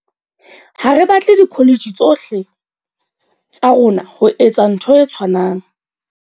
"Ha re batle dikholetjhe tsohle tsa rona ho etsa ntho e tshwanang."